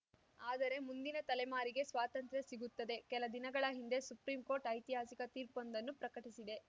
ಆದರೆ ಮುಂದಿನ ತಲೆಮಾರಿಗೆ ಸ್ವಾತಂತ್ರ್ಯ ಸಿಗುತ್ತದೆ ಕೆಲ ದಿನಗಳ ಹಿಂದೆ ಸುಪ್ರೀಂಕೋರ್ಟ್‌ ಐತಿಹಾಸಿಕ ತೀರ್ಪೊಂದನ್ನು ಪ್ರಕಟಿಸಿದೆ